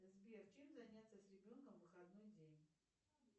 сбер чем заняться с ребенком в выходной день